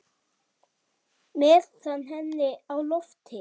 Með hnefann á lofti.